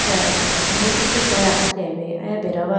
acha asimbo chee cheteya athuti bi aya beda wa.